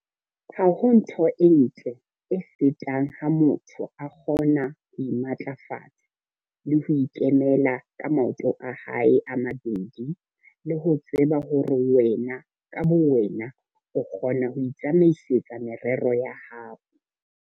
Ha ho ntho e ntle e fetang ha motho a kgona ho imatlafatsa le ho ikemela ka maoto a hae a mabedi le ho tseba hore wena ka bowena o kgona ho itsamaisetsa merero ya hao.